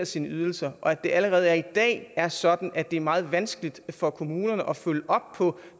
sine ydelser og at det allerede i dag er sådan at det er meget vanskeligt for kommunerne at følge op på